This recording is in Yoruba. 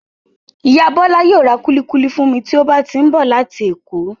Ìyá Bola yóò ra kuli-kuli fún mi tí ó bá ti ń bọ̀ láti èkó.